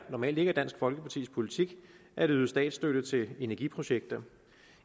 normalt ikke er dansk folkepartis politik at yde statsstøtte til energiprojekter